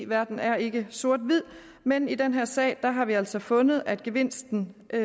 verden er ikke sort hvid men i den her sag har vi altså fundet at gevinsten af